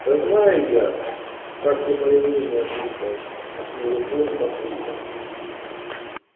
да знаю я как ты моё мнение слушаешь махнул рукой папулька